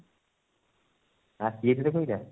ଆସିଯାଇଛି ରେ ସେଇଟା